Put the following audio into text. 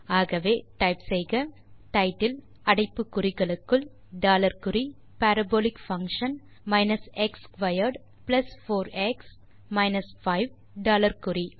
ஆகவே டைப் செய்க டைட்டில் அடைப்பு குறிகளுக்குள் டாலர் குறி parabolic function x squared plus 4எக்ஸ் மைனஸ் 5 டாலர் குறி